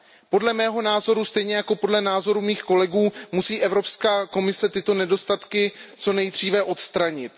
Podle mého názoru stejně jako podle názoru mých kolegů musí Evropská komise tyto nedostatky co nejdříve odstranit.